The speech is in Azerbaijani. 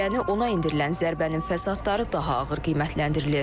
Yəni ona endirilən zərbənin fəsadları daha ağır qiymətləndirilir.